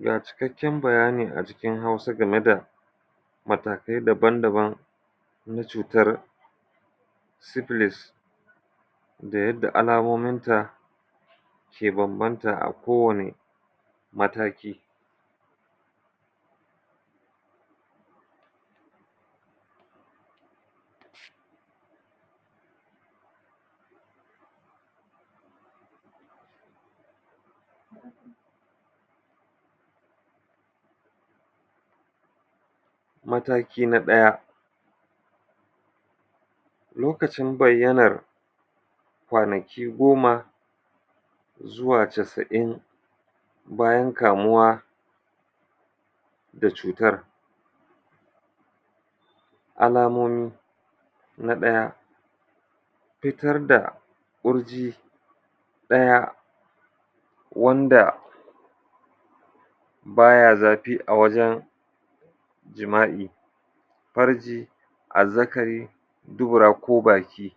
Ga cikakken bayani a cikin Hausa game da matakai daban-daban na cutar sifilis da yadda alamominta ke bambanta a kowane mataki. Mataki na ɗaya, lokacin bayyanar kwanaki goma zuwa casa'in bayan kamuwa da cutar Alamomi: Na ɗaya, fitar da ƙurji ɗaya wanda ba ya zafi a wajen jima'i, farji, azzakari, duburako baki.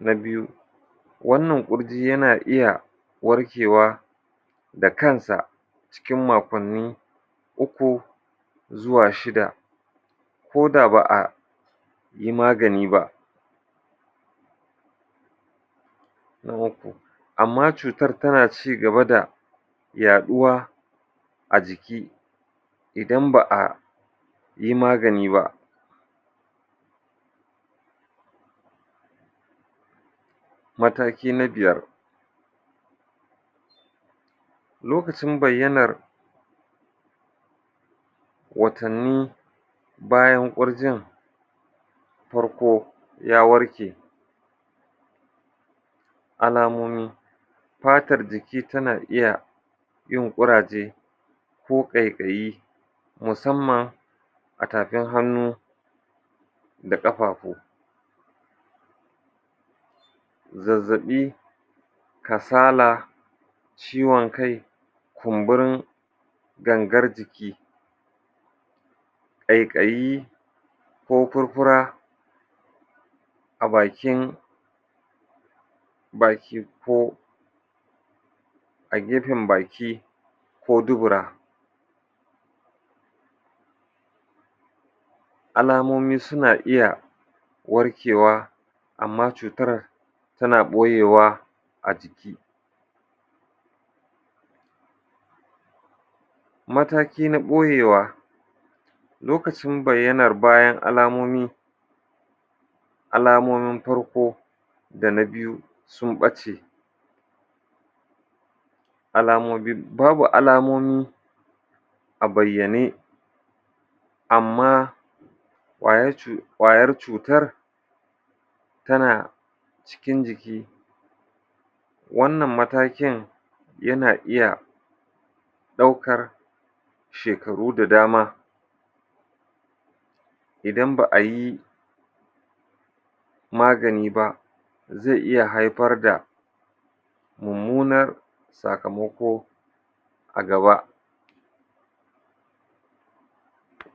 Na biyu, wannan ƙurji yana iya warkewa da kansa cikin makonni uku zuwa shida ko da ba yi magani ba. Na uku, amma cutar tana ci gaba da yaɗuwa a jiki idan ba a yi magani ba Mataki na biyar, lokacin bayyanar\ watanni bayan ƙurjin, farko ya warke Alamomi: Fatar jiki tana iya yin ƙuraje ko ƙaiƙayi, musamman a tafin hannu da ƙafafu. Zazzaɓi, kasala, ciwon kai, kumburin gangar jiki ƙaiƙayi ko furfura a bakin, naki ko a gefen baki ko dubura. Alamomi suna iya warkewa amma cutar tana ɓoyewa a ciki Mataki na ɓoyewa, lokacin bayyanar bayan alamomi Alamomin farko da na biyu sun ɓace alamomi. Babu alamomi a bayyane amma ƙwayar cutar tana cikin jiki. Wannan matakin yana iya ɗaukar shekaru da dama idan ba a yi magani ba zai iya haifar da mummunar sakamako a gaba.